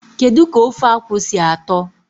Kedu ka ofe akwu si ato?